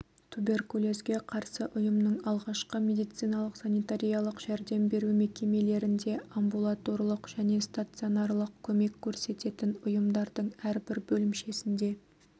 туберкулезге қарсы ұйымның алғашқы медициналық-санитариялық жәрдем беру мекемелерінде амбулаторлық және стационарлық көмек көрсететін ұйымдардың әрбір бөлімшесінде